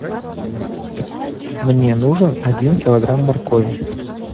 мне нужен один килограмм моркови